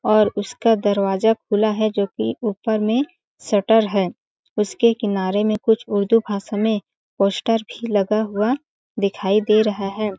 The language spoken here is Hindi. और उसका दरवाजा खुला है जोकि ऊपर में शटर है उसके किनारे में कुछ उर्दू भाषा में पोस्टर भी लगा हुआ दिखाई दे रहा हैं ।